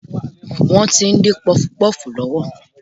Wọ́n tí ń dín pọfupọ́ọ̀fù lọ́wọ́